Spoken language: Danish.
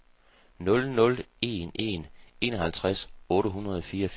nul nul en en enoghalvtreds otte hundrede og fireogfirs